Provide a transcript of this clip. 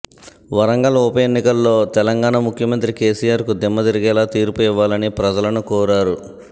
వరంగల్ ఉప ఎన్నికల్లో తెలంగాణ ముఖ్యమంత్రి కేసీఆర్ కు దిమ్మ తిరిగేలా తీర్పు ఇవ్వాలని ప్రజలను కోరారు